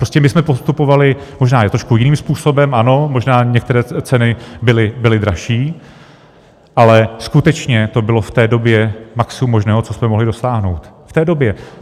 Prostě my jsme postupovali možná i trošku jiným způsobem, ano, možná některé ceny byly dražší, ale skutečně to bylo v té době maximum možného, co jsme mohli dosáhnout v té době.